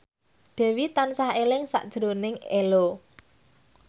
Dewi tansah eling sakjroning Ello